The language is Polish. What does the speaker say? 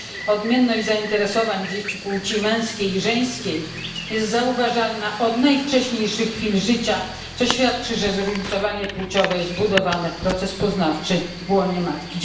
Odmienność zainteresowań dzieci płci męskiej i żeńskiej jest zauważalna od najwcześniejszych chwil życia, co świadczy o tym, że zróżnicowanie płciowe jest wbudowane w proces poznawczy w łonie matki.